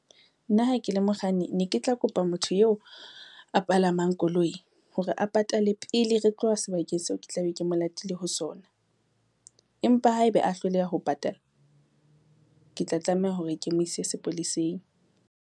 Nna ha ke le mokganni ne ke tla kopa motho eo a palamang koloi, hore a patale pele re tloha sebakeng seo ke tla be ke mo latile ho sona. Empa haeba a hloleha ho patala, ke tla tlameha hore ke mo ise sepoleseng.